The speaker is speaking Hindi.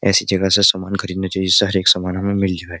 ऐसी जगह से सामान खरीदना चाहिए जिससे हर एक सामान हमें मिल जाए।